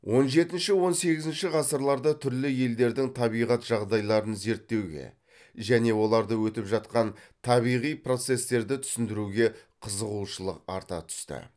он жетінші он сегізінші ғасырларда түрлі елдердің табиғат жағдайларын зерттеуге және оларда өтіп жатқан табиғи процестерді түсіндіруге қызығушылық арта түсті